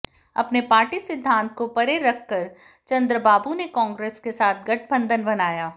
अपने पार्टी सिद्धांत को परे रख कर चंद्रबाबू ने कांग्रेस के साथ गठबंधन बनाया